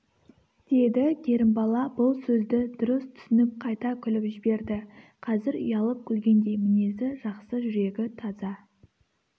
деді керімбала бұл сөзді дұрыс түсініп қайта күліп жіберді қазір ұялып күлгендей мінезі жақсы жүрегі таза